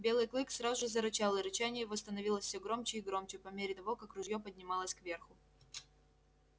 белый клык сразу же зарычал и рычание его становилось все громче и громче по мере того как ружье поднималось кверху